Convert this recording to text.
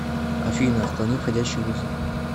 афина отклони входящий вызов